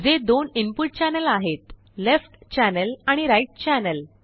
जे दोनइनपुट चॅनेल आहेत लेफ्ट चॅनेल आणि राईट चॅनेल